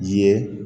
Ye